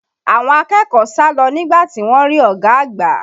Àwọn akẹ́kọ̀ọ́ sá lọ nígbà tí wọ́n rí ọ̀gá àgbà